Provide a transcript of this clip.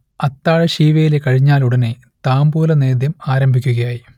അത്താഴ ശീവേലി കഴിഞ്ഞാലുടനെ താംബൂലനേദ്യം ആരംഭിക്കുകയായി